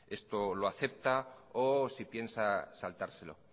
esto lo acepta o si piensa saltárselo